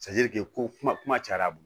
ko kuma kuma cayara a bolo